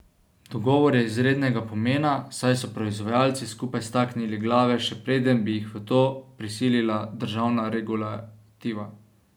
Dogovor je izrednega pomena, saj so proizvajalci skupaj staknili glave še preden bi jih v to prisilila državna regulativa.